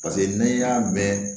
Paseke n'i y'a mɛn